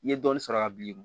I ye dɔɔnin sɔrɔ a bi